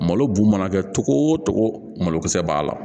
Malo bu mana kɛ togo o togo malo kisɛ b'a la